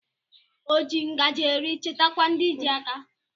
O ji ngajị eri chetakwa ndị ji aka